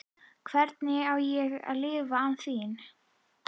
Hvernig á ég að lifa án þín?